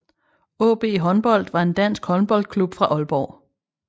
AaB Håndbold var en dansk håndboldklub fra Aalborg